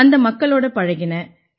அந்த மக்களோட பழகினேன்